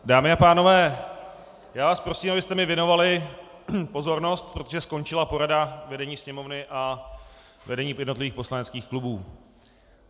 Dámy a pánové, já vás prosím, abyste mi věnovali pozornost, protože skončila porada vedení Sněmovny a vedení jednotlivých poslaneckých klubů.